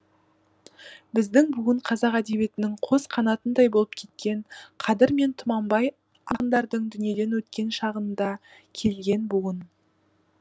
біздің буын қазақ әдебиетінің қос қанатындай болып кеткен қадыр мен тұманбай ақындардың дүниеден өткен шағында келген буын